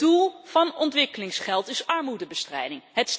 Het doel van ontwikkelingsgeld is armoedebestrijding.